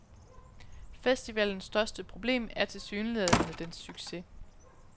Festivalens største problem er tilsyneladende dens succes.